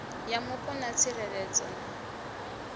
ya mupo na tsireledzo na